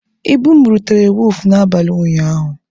Ibu m rutere wọọfụ n'abalị ụnyaahụ.